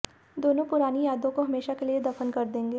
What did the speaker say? दोनों पुरानी यादों को हमेशा के लिए दफन कर देंगे